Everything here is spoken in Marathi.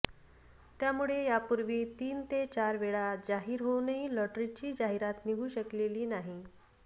त्यामुळे यापूर्वी तीन ते चार वेळा जाहीर होऊनही लॉटरीची जाहिरात निघू शकलेली नाही